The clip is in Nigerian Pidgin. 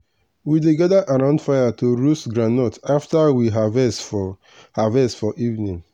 we dey gather around fire to roast groundnut after we harvest for harvest for evening.